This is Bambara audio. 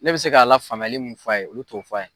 Ne bɛ se k'a lafaamuyali mun fɔ a ye olu t'o fɔ a ye.